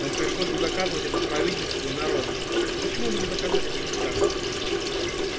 вам пришлось бы доказывать это правительству и народу так почему бы не доказать это сейчас